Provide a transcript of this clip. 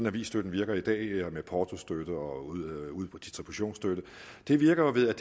avisstøtten virker i dag med portostøtte og distributionsstøtte det virker jo ved at